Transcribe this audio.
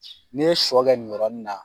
N'i ye sɔ kɛ nin yɔrɔnin na